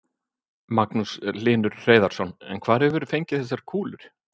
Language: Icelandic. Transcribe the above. Magnús Hlynur Hreiðarsson: En hvar hefur þú fengið þessar kúlur?